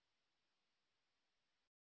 এতে অংশগ্রহন করার জন্য ধন্যবাদ